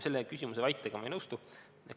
" Selles küsimuses esitatud väitega ma ei nõustu.